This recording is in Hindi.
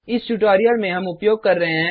इस ट्यूटोरियल में हम उपयोग कर रहे हैं